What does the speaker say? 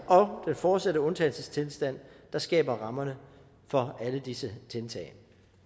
og den fortsatte undtagelsestilstand der skaber rammerne for alle disse tiltag